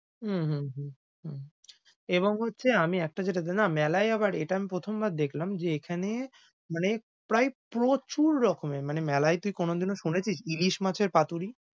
হম হু হু হু হু, এবং হচ্ছে আমি একটা যেটা জানি, না মেলায় আবার এটা আমি প্রথমবার দেখলাম যে এখানে মানে প্রায় প্রচুর রকমের মানে মেলায় তুই কোনদিনও শুনেছিস ইলিশ মাছের পাতুরি।